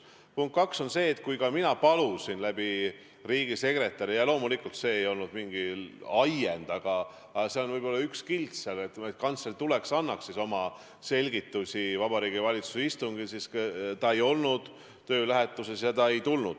Punkt 2 on see, et kui mina palusin riigisekretäri kaudu – loomulikult see ei olnud mingi vabastamise ajend, aga see oli võib-olla üks kild selles loos –, et kantsler tuleks ja annaks selgitusi Vabariigi Valitsuse istungil, siis, kuigi ta ei olnud töölähetuses, ta ei tulnud sinna.